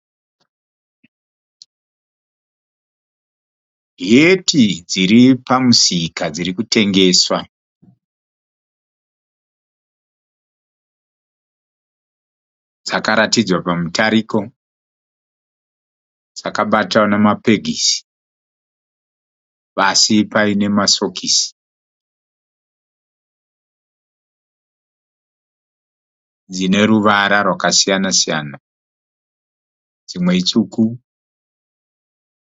Heti dziri pamusika dzirikutengeswa. Dzakaratidzwa pamutariko ,dzakabatwa nema pegisi pasi paine ma sokisi dzine ruvara rwakasiyana siyana, dzimwe itsvuku.